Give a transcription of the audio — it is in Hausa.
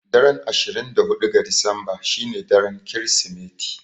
Daren ashirin da huɗu ga Disamba shine daren Kirsimeti.